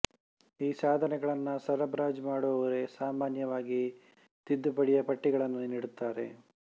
ಈ ಸಾಧನೆಗಳನ್ನು ಸರಬರಾಜು ಮಾಡುವವರೇ ಸಾಮಾನ್ಯವಾಗಿ ತಿದ್ದುಪಡಿಯ ಪಟ್ಟಿಗಳನ್ನೂ ನೀಡುತ್ತಾರೆ